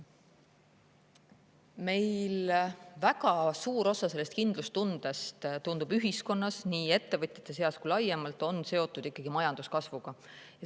Meil väga suur osa sellest kindlustundest, tundub, ühiskonnas, nii ettevõtjate seas kui ka laiemalt, on seotud ikkagi majanduskasvuga.